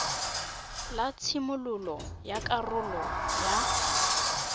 la tshimololo ya karolwana ya